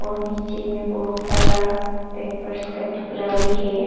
और नीचे में बहुत सारा पेपर्स का टुकड़ा भी है।